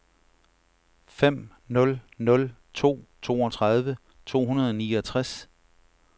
fem nul nul to toogtredive to hundrede og niogtres